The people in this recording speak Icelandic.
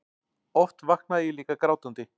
Oft vaknaði ég líka grátandi.